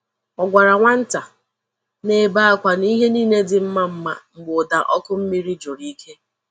O gwara nwa nta na-ebe akwa na ihe niile dị mma mma mgbe ụda ọkụ mmiri jụrụ ike.